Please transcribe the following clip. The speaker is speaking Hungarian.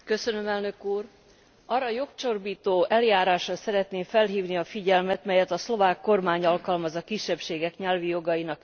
Arra a jogcsorbító eljárásra szeretném felhívni a figyelmet, melyet a szlovák kormány alkalmaz a kisebbségek nyelvi jogainak visszaszorítására.